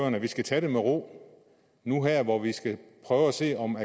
at vi skal tage den med ro nu her hvor vi skal prøve at se om